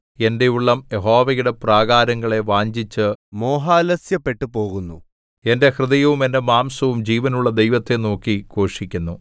എന്റെ ഉള്ളം യഹോവയുടെ പ്രാകാരങ്ങളെ വാഞ്ഛിച്ചു മോഹാലസ്യപ്പെട്ടു പോകുന്നു എന്റെ ഹൃദയവും എന്റെ മാംസവും ജീവനുള്ള ദൈവത്തെ നോക്കി ഘോഷിക്കുന്നു